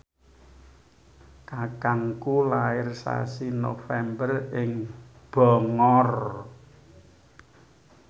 kakangku lair sasi November ing Bangor